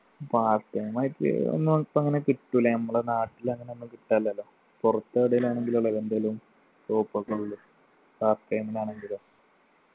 part time ആയിട്ട് ഒന്നും ഇപ്പൊ അങ്ങനെ കിട്ടൂല നമ്മളെ നാട്ടില് അങ്ങനെ ഒന്നും കിട്ടാനില്ലല്ലോ പുറത്തെവിടെലും ആണെങ്കിലല്ലേ എന്തേലും scope ഒക്കെ ഉള്ളു part time ൽ ആണെങ്കിലും